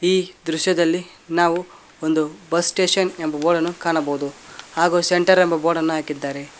ಈ ದೃಶ್ಯದಲ್ಲಿ ನಾವು ಒಂದು ಬಸ್ ಸ್ಟೇಷನ್ ಎಂಬ ಬೋರ್ಡ್ ನ್ನು ಕಾಣಬಹುದು ಹಾಗೂ ಸೆಂಟರ್ ಎಂಬ ಬೋರ್ಡ್ ನ್ನು ಹಾಕಿದ್ದಾರೆ.